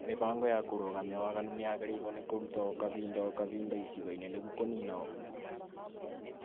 Mĩbango ya kũrũgamia waganu nĩ yagĩrĩirwo nĩ kũrutwo o kahinda o kahinda icigo-inĩ nĩguo kũnina ungumania